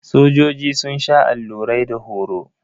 Sojoji sun sha allurai da horo.